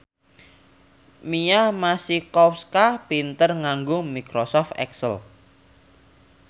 Mia Masikowska pinter nganggo microsoft excel